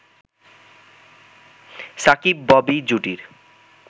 Shakib-Bobby জুটির